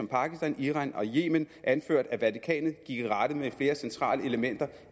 pakistan iran og yemen anført af vatikanet i rette med flere centrale elementer